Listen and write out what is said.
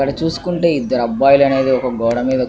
ఇక్కడ చూస్తునట్టు అయతె ఇదరు ఇద్దరు అబ్బాయిలు అనేది ఒక గోడ మీద --